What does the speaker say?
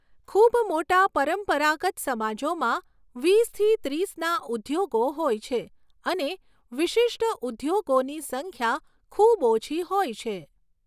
ખૂબ મોટા પરંપરાગત સમાજોમાં વીસથી ત્રીસના ઉદ્યોગો હોય છે અને વિશિષ્ટ ઉદ્યોગોની સંખ્યા ખૂબ ઓછી હોય છે.